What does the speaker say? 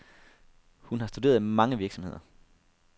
Hun har studeret mange virksomheder.